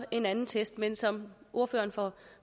en anden test men som ordføreren for